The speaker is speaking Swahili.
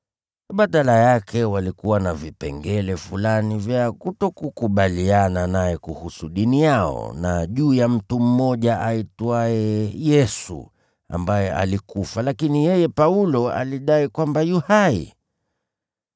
Badala yake walikuwa na vipengele fulani vya kutokukubaliana naye kuhusu dini yao na juu ya mtu mmoja aitwaye Yesu, ambaye alikufa, lakini yeye Paulo alidai kwamba yu hai.